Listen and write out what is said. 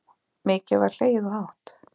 Mikið var hlegið og hátt.